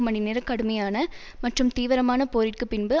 மணிநேர கடுமையான மற்றும் தீவிரமான போரிற்குப் பின்பு